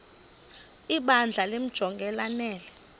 ibandla limjonge lanele